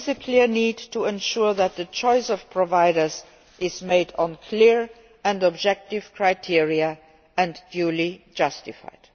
There is a clear need to ensure that the choice of provider is made on clear and objective criteria and is duly justified.